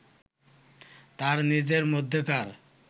তার নিজের মধ্যেকার